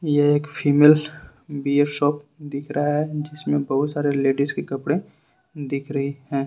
यह एक female wear shop दिख रहा है जिसमें बहुत सारे लेडिस के कपड़े दिख रही है।